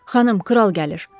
Xanım, kral gəlir.